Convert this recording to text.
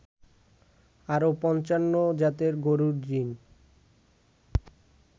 আরও ৫৫ জাতের গরুর জিন